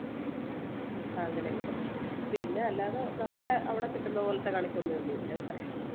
അങ്ങനെ കിട്ടും പിന്നെ അല്ലാതെ നമ്മടെ അവിടെ കിട്ടുന്നത് പോലെത്തെ കണിക്കൊന്നയോന്നുമില്ല ഇവിടെ